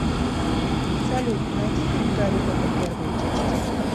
салют найди фильм гари потер первая часть